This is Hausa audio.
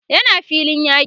yana filin yaki